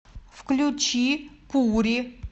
включи пури